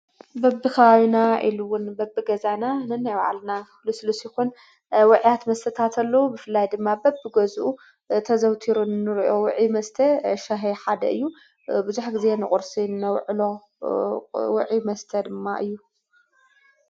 በብ ኸባቢና ኢሉውን በብ ገዛና ነናይባዓልና ሉስሉስ ይኹን ወዕያት መስተታት ኣሎዉ ብፍላይ ድማ በብቢ ገዝኡ ተዘውቲሩ ንርዮ ውዒ መስተ ሻሂይ ሓደ እዩ ብዙሕ ጊዜ ንቁርሲ እንውዕሎ ውዒ መስተ ድማ እዩ።